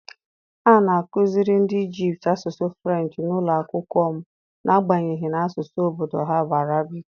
A na-akụziri ndị Ijipt asụsụ Frenchị n’ụlọ akwụkwọ m n’agbanyeghị na asụsụ obodo ha bụ Arabic.